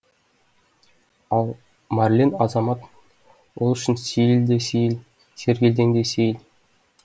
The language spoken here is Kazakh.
ал марлен азамат ол үшін сейіл де сейіл сергелдең де сейіл